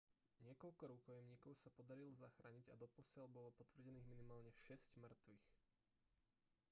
niekoľko rukojemníkov sa podarilo zachrániť a doposiaľ bolo potvrdených minimálne šesť mŕtvych